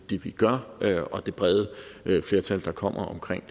det vi gør er samfundsnyttigt og det brede flertal der kommer omkring